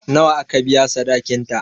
Nawa aka biya sadakin ta?